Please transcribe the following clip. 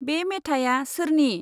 बे मेथाया सोरनि?